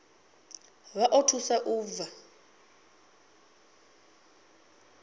vha o thusa u bva